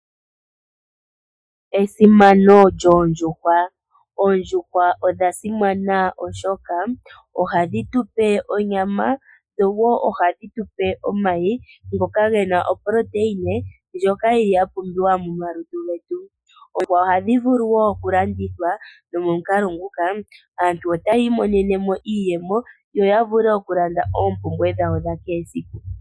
Esimano yoondjuhwa, oondjuhwa odha simana oshoka, ohadhi tu pe onyama, dho woo ohadhi tupe omayi ngoka gena oproteina ndjoka yili ya pumbiwa mo malutu getu. Oondjuhwa ohadhi vulu wo okulandithwa, nomo mukalo nguka, aantu otaya imonene mo iiyemo, yo ya vule okulanda oompumbwe dhawo dha kehe siku.